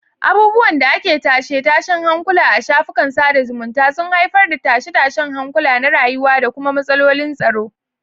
Abubuwan da ake tashe-tashen hankula a shafukan sada zumunta sun haifar da tashe-tashen hankula na rayuwa da kuma matsalolin tsaro.